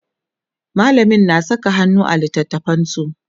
mallamin na Saka hannu a littatafansu